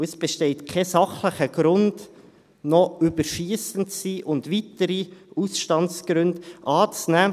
Es besteht kein sachlicher Grund, überschiessend zu sein und noch weitere Ausstandsgründe anzunehmen.